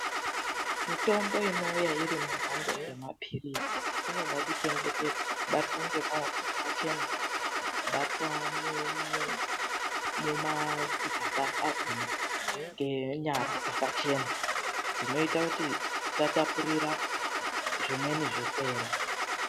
MITOMBO INOUYA IRI MUMAPAKITI EMAPIRISI INODA KUCHENGETEDZWA KUBATWA NEMAOKO AKACHENA KUBATWA MUMAGABA AKHONA NENYARA DZAKACHENA ZVINOITA KTI TISATAPURIRA ZVIMWENI ZVIRWERE